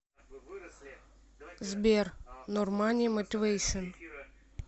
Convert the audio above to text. сбер нормани мотивэйшн